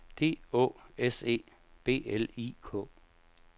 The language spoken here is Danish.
D Å S E B L I K